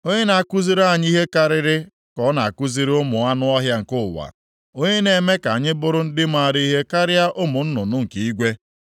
onye na-akụziri anyị ihe karịa ka ọ na-akụziri ụmụ anụ ọhịa nke ụwa, onye na-eme ka anyị bụrụ ndị maara ihe karịa ụmụ nnụnụ + 35:11 Maọbụ, anụ ufe nke igwe?’